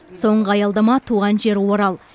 соңғы аялдама туған жері орал